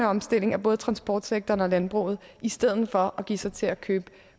omstillingen af både transportsektoren og landbruget i stedet for at give sig til at købe